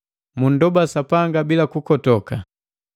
mundoba Sapanga bila kukotoka,